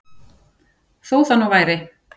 Þó það nú væri.